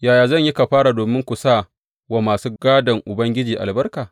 Yaya zan yi kafara domin ku sa wa masu gādon Ubangiji albarka?